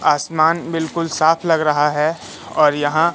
आसमान बिल्कुल साफ लग रहा हैं और यहां--